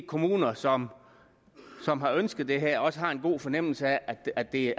kommuner som som har ønsket det her også har en god fornemmelse af at det